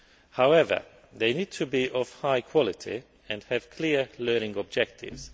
However, they must be of high quality and have clear learning objectives.